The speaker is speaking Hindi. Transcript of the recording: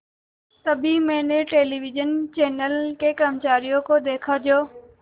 तभी मैंने टेलिविज़न चैनल के कर्मचारियों को देखा जो